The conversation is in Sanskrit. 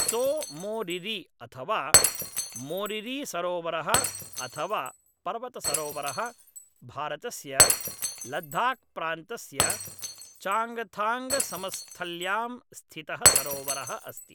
त्सो मोरिरी अथवा मोरिरीसरोवरः अथ वा पर्वतसरोवरः भारतस्य लद्दाख्प्रान्तस्य चाङ्गथाङ्गसमस्थल्यां स्थितः सरोवरः अस्ति